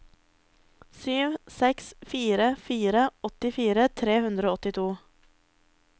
sju seks fire fire åttifire tre hundre og åttito